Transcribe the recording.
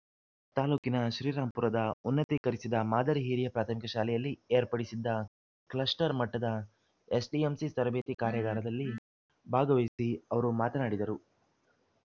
ತಾಲೂಕಿನ ಶ್ರೀರಾಂಪುರದ ಉನ್ನತೀಕರಿಸಿದ ಮಾದರಿ ಹಿರಿಯ ಪ್ರಾಥಮಿಕ ಶಾಲೆಯಲ್ಲಿ ಏರ್ಪಡಿಸಿದ್ದ ಕ್ಲಸ್ಟರ್‌ ಮಟ್ಟದ ಎಸ್‌ಡಿಎಂಸಿ ತರಬೇತಿ ಕಾರ್ಯಾಗಾರದಲ್ಲಿ ಭಾಗವಹಿಸಿ ಅವರು ಮಾತನಾಡಿದರು